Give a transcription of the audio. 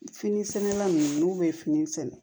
Fini sɛnɛnna nunnu n'u be fini sɛnɛ